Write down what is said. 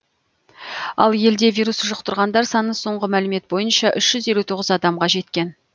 ал елде вирус жұқтырғандар саны соңғы мәлімет бойынша үш жүз елу тоғыз адамға жеткен